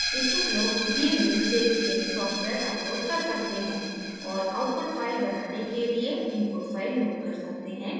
इच्छुक load दिए link से gamess सॉफ्टवेयर download कर सकते हैं